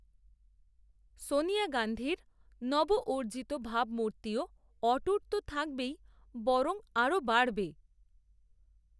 সনিয়া গাঁধীর নব অর্জিত ভাবমূর্তিও, অটুট তো থাকবেই, বরং, আরও বাড়বে